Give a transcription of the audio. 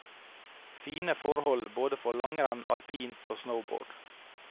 Fine forhold både for langrenn, alpint og snowboard.